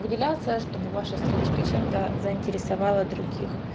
выделяться чтобы ваша страничка чем-то заинтересовала других